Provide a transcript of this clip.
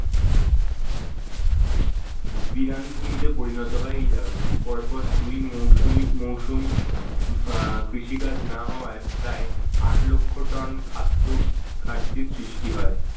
বিরান ভূমিতে পরিণত হয় এই জায়গা গুলি পরপর দুই মৌসুমী মৌসুম কৃষিকাজ না হওয়ায় প্রায় আট লক্ষ ton খাদ্য ঘাটতির সৃষ্টি হয়।